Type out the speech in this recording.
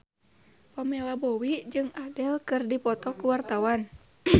Pamela Bowie jeung Adele keur dipoto ku wartawan